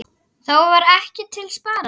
Þá var ekkert til sparað.